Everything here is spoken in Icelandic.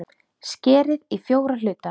Skerið í fjóra hluta.